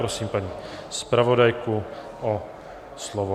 Prosím paní zpravodajku o slovo.